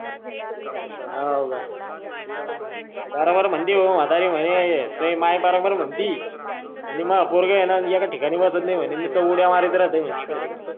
हा होका बराबर म्हंटली म्हातारी मले हा तू ही माय बराबर म्हणती माह पोरग ऐका ठिकाणी बसत नाय निसत उड्या मारीत राहत इकड तिकडं